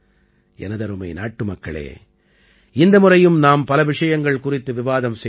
எனதருமை நாட்டுமக்களே இந்த முறையும் நாம் பல விஷயங்கள் குறித்து விவாதம் செய்தோம்